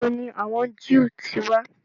Ìbo ni àwọn Jew ti wà?